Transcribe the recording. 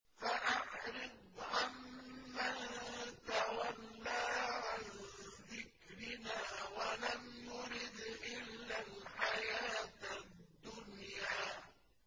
فَأَعْرِضْ عَن مَّن تَوَلَّىٰ عَن ذِكْرِنَا وَلَمْ يُرِدْ إِلَّا الْحَيَاةَ الدُّنْيَا